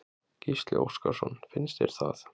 Gísli Óskarsson: Finnst þér það?